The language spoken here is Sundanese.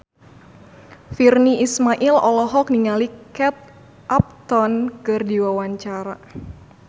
Virnie Ismail olohok ningali Kate Upton keur diwawancara